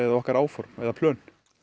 okkar áform eða plön